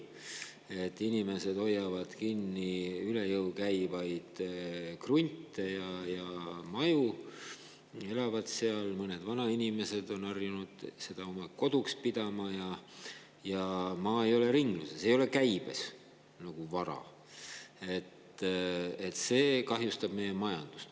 Et inimesed hoiavad kinni üle jõu käivaid krunte ja maju, elavad seal – mõned vanainimesed on harjunud neid oma koduks pidama –, mistõttu maa ei ole ringluses, ei ole käibes nagu vara, ja see kahjustab meie majandust.